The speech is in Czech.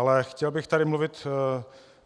Ale chtěl bych tady mluvit